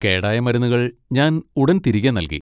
കേടായ മരുന്നുകൾ ഞാൻ ഉടൻ തിരികെ നൽകി.